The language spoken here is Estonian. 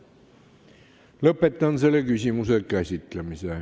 Lõpetan selle küsimuse käsitlemise.